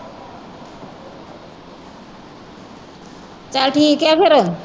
ਚੱਲ ਠੀਕ ਹੈ ਫਿਰ